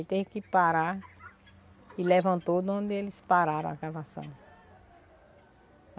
Aí teve que parar e levantou de onde eles pararam a cavação.